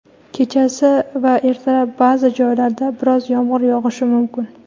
kechasi va ertalab ba’zi joylarda biroz yomg‘ir yog‘ishi mumkin.